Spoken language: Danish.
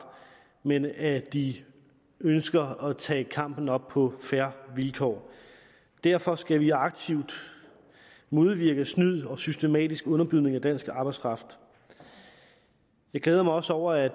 men at de ønsker at tage kampen op på fair vilkår derfor skal vi aktivt modvirke snyd og systematisk underbydning af dansk arbejdskraft jeg glæder mig også over at